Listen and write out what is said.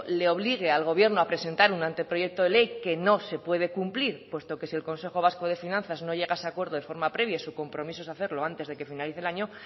le obligue el gobierno a presentar un anteproyecto de ley que no se puede cumplir puesto que si el consejo vasco de finanzas no llega a ese acuerdo de forma previa y su compromiso es hacerlo antes de que finalice el año